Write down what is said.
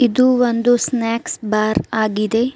ಇದು ಒಂದು snacks bar ಆಗಿದೆ.